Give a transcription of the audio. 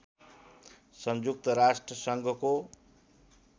संयुक्त राष्ट्र सङ्घको